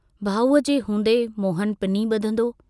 भाऊअ जे हूंदे मोहन पिनी बुधंदो?